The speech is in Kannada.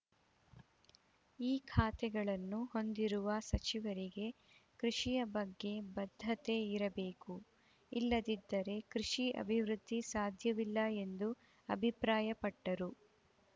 ಈ ಖಾತೆಗಳನ್ನು ಹೊಂದಿರುವ ಸಚಿವರಿಗೆ ಕೃಷಿಯ ಬಗ್ಗೆ ಬದ್ಧತೆ ಇರಬೇಕು ಇಲ್ಲದಿದ್ದರೆ ಕೃಷಿ ಅಭಿವೃದ್ಧಿ ಸಾಧ್ಯವಿಲ್ಲ ಎಂದು ಅಭಿಪ್ರಾಯಪಟ್ಟರು